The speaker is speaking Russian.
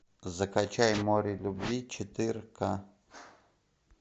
закачай море любви четыр ка